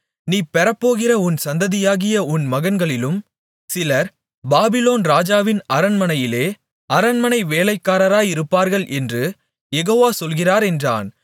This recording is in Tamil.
நீ பெறப்போகிற உன் சந்ததியாகிய உன் மகன்களிலும் சிலர் பாபிலோன் ராஜாவின் அரண்மனையிலே அரண்மனை வேலைக்காரராயிருப்பார்கள் என்று யெகோவா சொல்கிறார் என்றான்